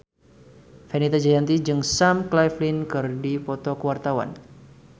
Fenita Jayanti jeung Sam Claflin keur dipoto ku wartawan